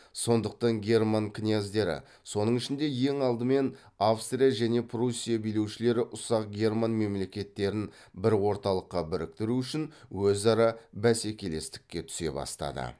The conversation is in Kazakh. сондықтан герман князьдері сонң ішінде ең алдымен австрия және пруссия билеушілері ұсақ герман мемлекеттерін бір орталыққа біріктеру үшін өзара бәсекелестікке түсе бастады